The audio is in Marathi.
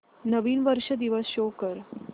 नवीन वर्ष दिवस शो कर